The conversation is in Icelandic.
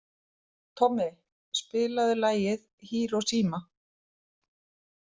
Tommi, spilaðu lagið „Hiroshima“.